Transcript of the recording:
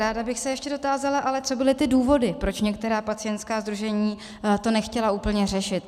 Ráda bych se ještě dotázala, co ale byly ty důvody, proč některá pacientská sdružení to nechtěla úplně řešit.